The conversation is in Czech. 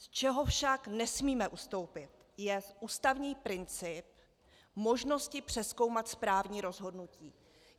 Z čeho však nesmíme ustoupit, je ústavní princip možnosti přezkoumat správní rozhodnutí.